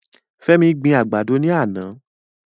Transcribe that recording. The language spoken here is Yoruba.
Femi gbin àgbàdo ní àná.